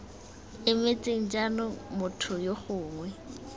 emetseng jaanong motho yo gongwe